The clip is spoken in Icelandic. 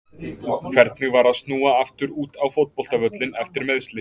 Hvernig var að snúa aftur út á fótboltavöllinn eftir meiðsli?